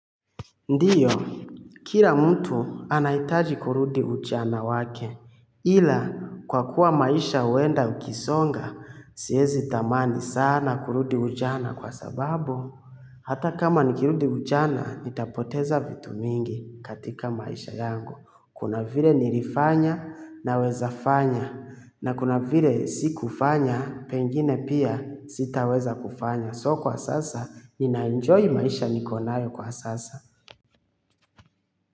Ndiyo, kila mtu anahitaji kurudi ujana wake, ila kwa kuwa maisha huenda ukisonga, siwezi tamani sana kurudi ujana kwa sababu. Hata kama nikirudi ujana, nitapoteza vitu mingi katika maisha yangu. Kuna vile nilifanya naweza fanya, na kuna vile sikufanya, pengine pia sitaweza kufanya. So kwa sasa, ninaenjoy maisha niko nayo kwa sasa.